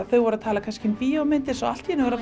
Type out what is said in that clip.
þau voru að tala um bíómyndir en allt í einu voru